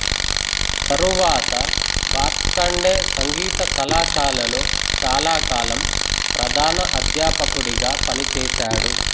తరువాత భాత్ఖండే సంగీత కళాశాలలో చాలాకాలం ప్రధాన అధ్యాపకుడిగా పనిచేశాడు